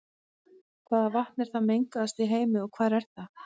Hvaða vatn er það mengaðasta í heimi og hvar er það?